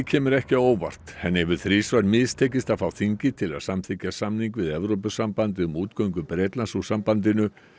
kemur ekki á óvart henni hefur þrisvar mistekist að fá þingið til að samþykkja samning við Evrópusambandið um útgöngu Bretlands úr sambandinu